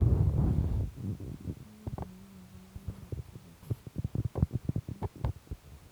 Portoop chitoo kobaruu kabarunaik cherubei ak